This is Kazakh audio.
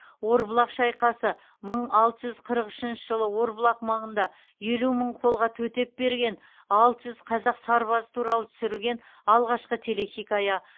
орбұлақ шайқасы мың алты жүз қырық үшінші жылы орбұлақ маңында елу мың қолға төтеп берген алты жүз қазақ сарбазы туралы түсірілген алғашқы телехикая